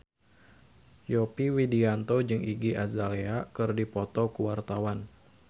Yovie Widianto jeung Iggy Azalea keur dipoto ku wartawan